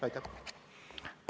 Aitäh!